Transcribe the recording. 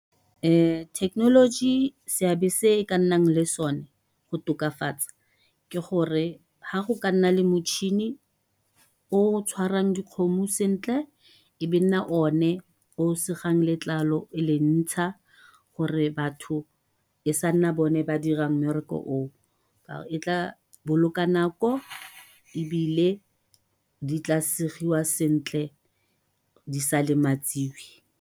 Thekenoloji seabe se e ka nnang le sone go tokafatsa, ke gore ha go ka nna le motšhini o tshwarang dikgomo sentle, ebe nna o ne o segang letlalo e le ntsha, gore batho e sa nna bone ba dirang mmereko oo. E tla boloka nako ebile di tla segiwa sentle di sa lematsiwe.